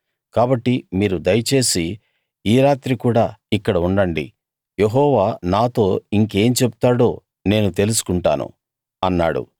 కాబట్టి మీరు దయచేసి ఈ రాత్రి కూడా ఇక్కడ ఉండండి యెహోవా నాతో ఇంకేం చెప్తాడో నేను తెలుసుకుంటాను అన్నాడు